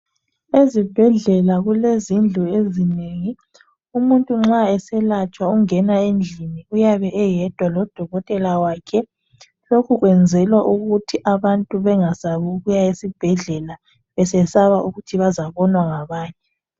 Ezibhedlela kulezindlu ezinengi kakhulu umuntu nxa eselatshwa uyangena endlini uyabe eyedwa lodokotela wakhe lokhu kuyenzelwa ukuthi abantu bengasabi ukuya esibhedlela besesaba ukuthi bazabonwa ngabanye njalo indaba zabo zizayaziwa